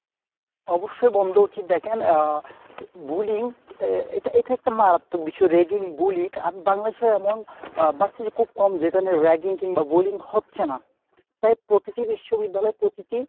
অবশ্যই বন্ধ উচিৎ দেখেন আহ bullying এর এটা একটা মারাত্মক বিষয় ragging bullying আপনি বাংলাদেশে এমন আহ versity খুব কম যেখানে ragging কিংবা bullying হচ্ছে না প্রায় প্রতিটি বিশ্ববিদ্যালয়ে প্রতিটি।